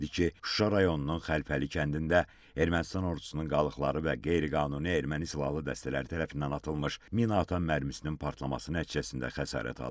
Şuşa rayonunun Xəlfəli kəndində Ermənistan ordusunun qalıqları və qeyri-qanuni erməni silahlı dəstələri tərəfindən atılmış minaatan mərmisinin partlaması nəticəsində xəsarət alıb.